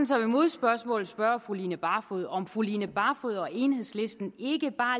som et modspørgsmål spørge fru line barfod om fru line barfod og enhedslisten ikke bare